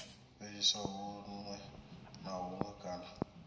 fheliswa huṅwe na huṅwe kana